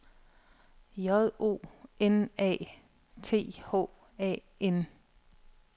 J O N A T H A N